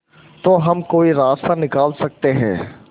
तो हम कोई रास्ता निकाल सकते है